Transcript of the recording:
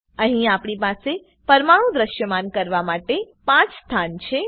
અહી આપણી પાસે પરમાણુ દ્રશ્યમાન કરવા માટે 5 સ્થાન છે